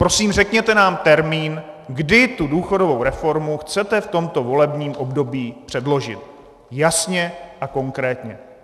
Prosím, řekněte nám termín, kdy tu důchodovou reformu chcete v tomto volebním období předložit - jasně a konkrétně!